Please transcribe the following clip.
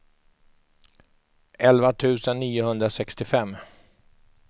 elva tusen niohundrasextiofem